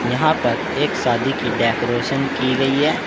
यहां पर एक शादी की डेकोरेशन की गई है।